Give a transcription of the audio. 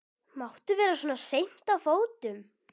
Máttu vera svona seint á fótum?